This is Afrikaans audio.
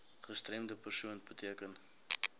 gestremde persoon beteken